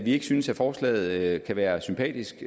ikke synes at forslaget kan være sympatisk